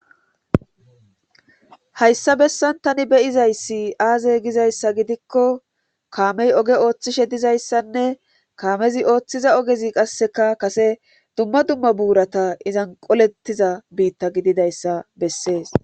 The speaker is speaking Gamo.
Hayssa bessan tani beyizayssi aaze gizayssa gidikko kaamey oge ooththishe dizayssanne kaamezi ooththiza ogezi qasseka kase dumma dumma buurata izan qolettiza biitta gididayssa bessees